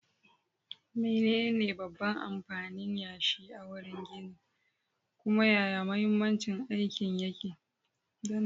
Menene babban amfanin yashi a wurin ginin, kuma yaya mahimmancin aikin yake?